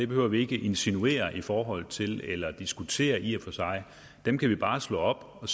behøver vi ikke at insinuere noget i forhold til eller og diskutere dem kan vi bare slå op og